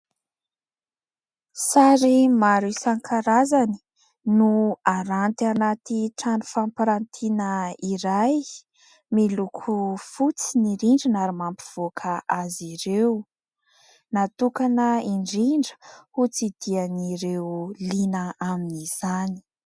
Sary maro isan-karazany no haranty anaty trano fampirantiana iray miloko fotsy ny rindrina ary mampivoaka azy ireo. Natokana indrindra ho tsidihan'ireo liana amin'izany.